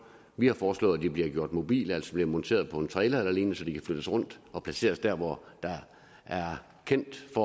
vi har foreslået at de bliver gjort mobile altså bliver monteret på en trailer eller lignende så de kan flyttes rundt og placeres der hvor det er kendt at